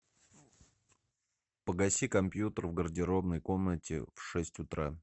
погаси компьютер в гардеробной комнате в шесть утра